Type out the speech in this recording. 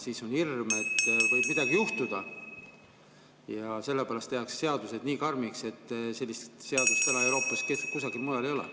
Siis on hirm , et võib midagi juhtuda, ja sellepärast tehakse seadused nii karmiks, et sellist seadust Euroopas kusagil mujal ei ole.